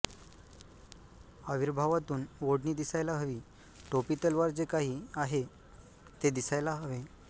आविर्भावातून ओढणी दिसायला हवी टोपी तलवार जे काही आहे ते दिसायला हवे